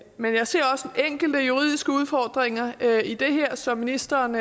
men jeg ser også enkelte juridiske udfordringer i det her som ministeren